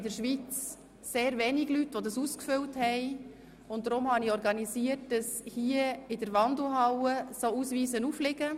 Da in der Schweiz nur sehr wenige Leute diesen Ausweis ausgefüllt haben, habe ich organisiert, dass in der Wandelhalle solche Ausweise aufliegen.